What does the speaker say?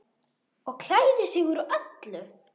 Og klæðir sig úr öllu!